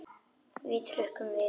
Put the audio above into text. Við hrukkum við.